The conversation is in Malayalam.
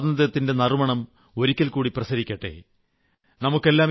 എമ്പാടും സ്വാതന്ത്ര്യത്തിന്റെ നറുമണം ഒരിക്കൽകൂടി പ്രസരിക്കട്ടെ